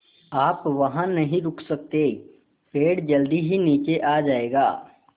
आप वहाँ नहीं रुक सकते पेड़ जल्दी ही नीचे आ जाएगा